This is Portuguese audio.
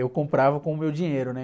eu comprava com o meu dinheiro, né?